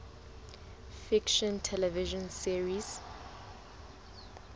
fiction television series